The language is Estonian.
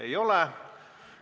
Ei ole.